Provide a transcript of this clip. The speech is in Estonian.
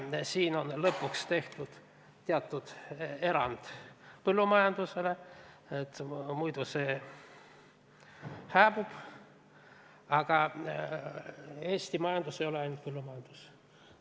Siin on lõpuks tehtud teatud erand põllumajandusele, sest muidu see hääbuvat, aga Eesti majandus ei ole ainult põllumajandus.